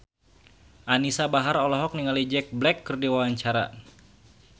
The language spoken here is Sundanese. Anisa Bahar olohok ningali Jack Black keur diwawancara